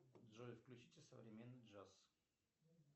джой включите современный джаз